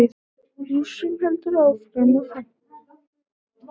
Rússum heldur áfram að fækka